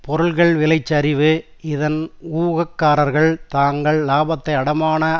பொருட்கள் விலை சரிவு இதன் ஊகக்காரர்கள் தாங்கள் இலாபத்தை அடைமான